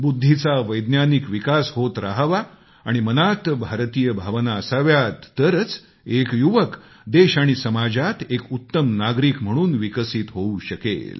बुद्धीचा वैज्ञानिक विकास होत रहावा आणि मनात भारतीय भावना असाव्यात तरच एक युवक देश आणि समाजात एक उत्तम नागरिक म्हणून विकसित होऊ शकेल